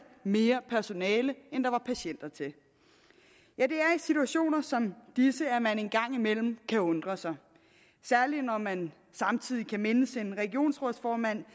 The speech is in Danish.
mere personale end der var patienter til i situationer som disse at man en gang imellem kan undre sig særlig når man samtidig kan mindes en regionsrådsformand